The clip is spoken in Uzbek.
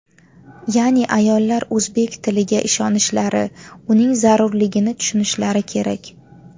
Ya’ni ayollar o‘zbek tiliga ishonishlari, uning zarurligini tushunishlari kerak.